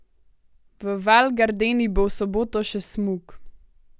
V Val Gardeni bo v soboto še smuk.